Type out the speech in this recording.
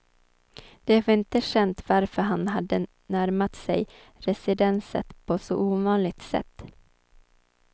Det var inte känt varför han hade närmat sig residenset på så ovanligt sätt.